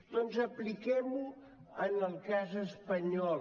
doncs apliquem ho en el cas espanyol